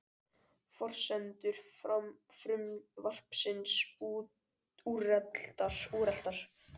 Forsendur frumvarpsins úreltar